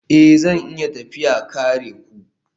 Ee, zan iya tafiya kare ku